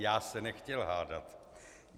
Já se nechtěl hádat.